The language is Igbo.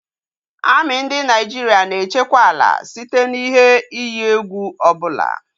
Amị ndị Naịjirịa na-echekwa ala site n'ihe iyi egwu ọbụla